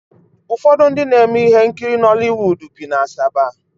Ụfọdụ ndị na-eme ihe nkiri Nọliwuudu bi na Asaba